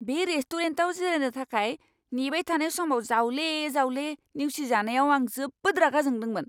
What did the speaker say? बे रेस्टुरेन्टआव जिरायनो थाखाय नेबाय थानाय समाव जावले जावले नेवसिजानायाव आं जोबोद रागा जोंदोंमोन!